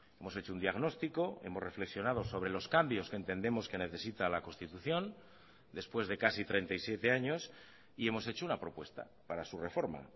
hemos hecho un diagnostico hemos reflexionado sobre los cambios que entendemos que necesita la constitución después de casi treinta y siete años y hemos hecho una propuesta para su reforma